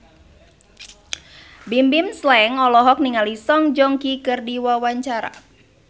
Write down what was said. Bimbim Slank olohok ningali Song Joong Ki keur diwawancara